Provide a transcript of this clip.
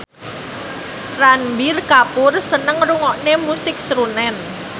Ranbir Kapoor seneng ngrungokne musik srunen